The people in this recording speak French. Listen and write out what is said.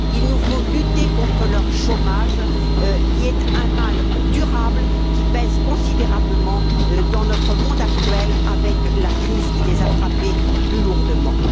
il nous faut lutter contre leur chômage, qui est un mal durable qui pèse considérablement dans notre monde actuel avec la crise qui les a frappés plus lourdement.